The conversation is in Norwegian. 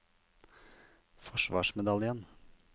forsvarsmedaljen